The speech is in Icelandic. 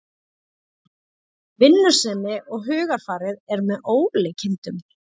Vinnusemin og hugarfarið er með ólíkindum